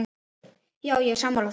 Já, ég er sammála því.